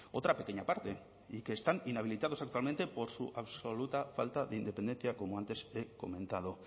otra pequeña parte y que están inhabilitados actualmente por su absoluta falta de independencia como antes he comentado